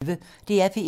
DR P1